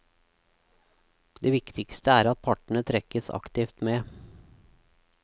Det viktigste er at partene trekkes aktivt med.